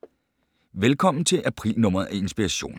Velkommen til april-nummeret af Inspiration.